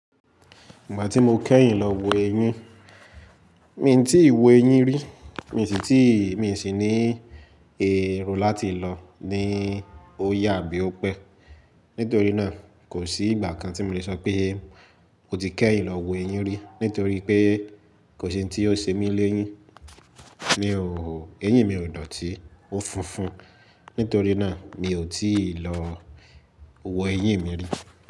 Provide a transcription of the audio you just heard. Ìgbà tí mo kẹ́yìn lọ wo ẹyin, mi ò tí ì wo ẹyin rí, mi sì ní èrò láti lọ ní ó yà abí ó pẹ́. Nítorí náà kò sí ìgbà kan tí mo le sọ pé mo ti kẹ́yìn lọ wo ẹyin rí, nítorí pé kò sí ohun tí ó ṣe mí léyín. Mi ò, ẹyin mi ò dọ̀tí, ó funfun, nítorí náà mi ò tí ì lọ wo ẹyin mi rí.